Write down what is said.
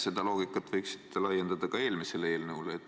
Seda loogikat võiksite laiendada ka eelmisele eelnõule.